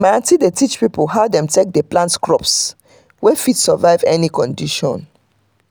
my aunty dey teach people how dem take dey plant crops wey fit survive any kind condition.